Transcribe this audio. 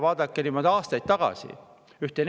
Vaadake, mis toimus aastaid tagasi!